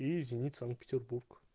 и зенит санкт-петербург